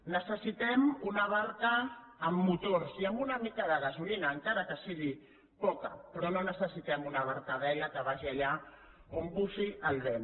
necessitem una barca amb motors i amb una mica de gasolina encara que sigui poca però no necessitem una barca a vela que vagi allà on bufi el vent